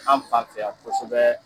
An fan fɛ yan kɔsɔbɛ